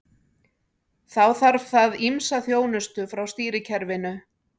Þá þarf það ýmsa þjónustu frá stýrikerfinu.